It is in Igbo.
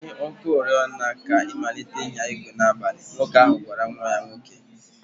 Gbanye ọkụ oriọna ka ị malite ịnya igwe n'abalị" Nwoke ahụ gwara nwa ya nwoke.